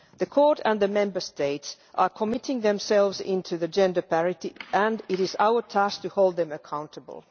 The Court and the Member States are committing themselves to gender parity, and it is our task to hold them accountable.